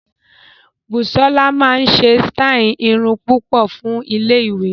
Busola máa ṣe sítáì irun púpọ̀ fún iléèwé